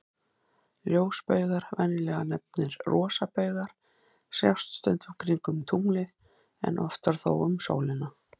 Ljósbaugar, venjulega nefndir rosabaugar, sjást stundum kringum tunglið, en oftar þó um sólina.